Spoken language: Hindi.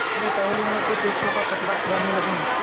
अपने टहलुओं के टैक्सों का पचड़ा गाने लगूँ